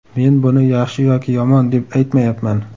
Men buni yaxshi yoki yomon deb aytmayapman.